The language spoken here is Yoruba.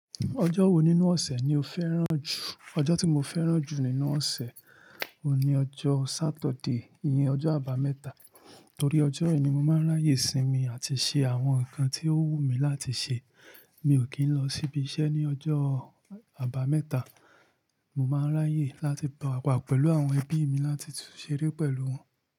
Ọjọ́ wo nínú ọ̀sẹ̀ ni o fẹ́ràn jù? Ọjọ́ tí mo fẹ́ràn jù nínú ọ̀sẹ̀, òun ni ọjọ́ Saturday, ìyẹn ọjọ́ àbámẹ́ta. Torí ọjọ́ yìí ni mo máa ń ráyè sínmi àti ṣe àwọn nǹkan tí ó wù mí láti ṣe. Mi ò kì n lọ síbi iṣẹ́ ní ọjọ́ àbámẹ́ta. Mo máa ń ráyè láti wà pẹ̀lú àwọn ẹbí mi láti ṣeré pẹ̀lú wọn.